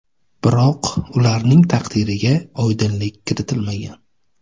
Biroq ularning taqdiriga oydinlik kiritilmagan.